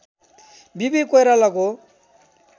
वि पि कोइरालाको